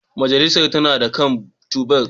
Mujallar tana kan tebur